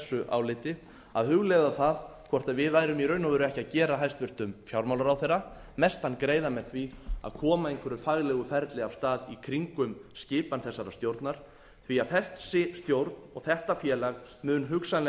áliti að hugleiða það hvort við værum í raun og veru ekki að gera hæstvirtur fjármálaráðherra mestan greiða með því að koma einhverju faglegu ferli af stað í kringum skipan þessarar stjórnar því þessi stjórn og þetta félag mun hugsanlega